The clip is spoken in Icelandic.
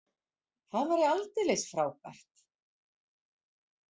Það væri aldeilis frábært.